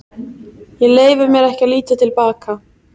Ég leyfi mér ekki að líta til baka.